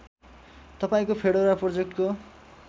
तपाईँको फेडोरा प्रोजेक्टको